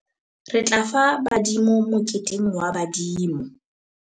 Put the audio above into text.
re tla fa badimo moketeng wa badimo